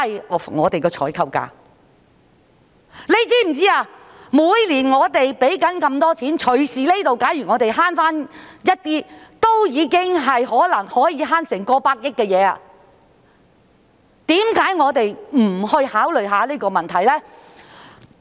我們每年支付那麼多錢，假如我們能夠節省一些這方面的開支，便很可能可以節省差不多100億元，為甚麼我們不去思考這個問題呢？